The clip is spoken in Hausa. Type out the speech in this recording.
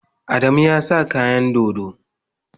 Adamu ya sa kayan dodo.